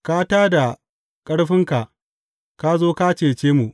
Ka tā da ƙarfinka; ka zo ka cece mu.